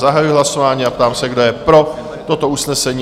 Zahajuji hlasování a ptám se, kdo je pro toto usnesení?